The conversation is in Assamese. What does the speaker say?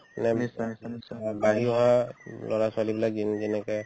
অ বাঢ়ি অহা ল'ৰা-ছোৱালীবিলাক যিন~ যেনেকে